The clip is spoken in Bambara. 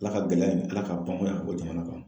Ala ka gɛlɛya in, Ala ka o jamana kan